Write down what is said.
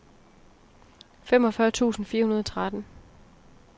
femogfyrre tusind fire hundrede og tretten